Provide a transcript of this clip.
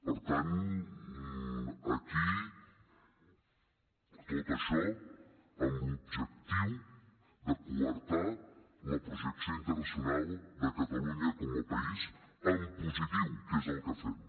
per tant aquí tot això amb l’objectiu de coartar la projecció internacional de catalunya com a país en positiu que és el que fem